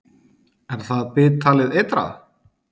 Er það bit talið eitrað.